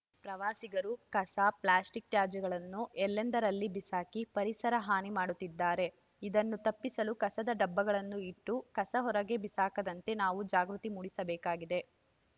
ಪ್ರವಾಸಿಗರು ಕಸ ಪ್ಲಾಸ್ಟಿಕ್‌ ತ್ಯಾಜ್ಯಗಳನ್ನು ಎಲ್ಲೆಂದರಲ್ಲಿ ಬಿಸಾಕಿ ಪರಿಸರ ಹಾನಿ ಮಾಡುತ್ತಿದ್ದಾರೆ ಇದನ್ನು ತಪ್ಪಿಸಲು ಕಸದ ಡಬ್ಬಗಳನ್ನು ಇಟ್ಟು ಕಸ ಹೊರಗೆ ಬಿಸಾಕದಂತೆ ನಾವು ಜಾಗೃತಿ ಮೂಡಿಸಬೇಕಾಗಿದೆ